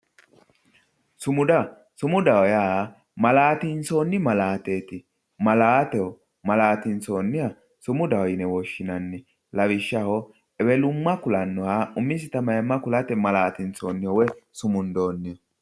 Sumuda, sumudaho yaa malatinsonni malaateti, malaateho malatinsoniha sumudaho yinne woshshinanni lawishshaho ewelumma ku'lanoha umisitta mayima ku'late malatinsonniho woyi sumundonniho